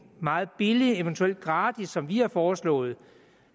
meget billig eventuelt gratis som vi har foreslået